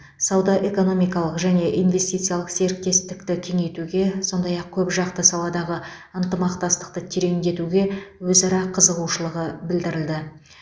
сауда экономикалық және инвестициялық серіктестікті кеңейтуге сондай ақ көпжақты саладағы ынтымақтастықты тереңдетуге өзара қызығушылығы білдірілді